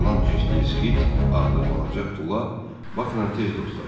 İrland cinsli Skit adlı balaca tula Baknan tez dostlaşdı.